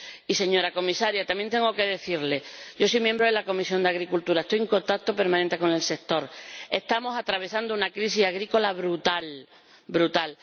Y, señora Comisaria, también tengo que decirle que yo soy miembro de la Comisión de Agricultura y Desarrollo Rural, estoy en contacto permanente con el sector, estamos atravesando una crisis agrícola brutal, brutal.